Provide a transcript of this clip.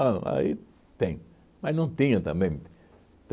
Bom, aí tem, mas não tinha também.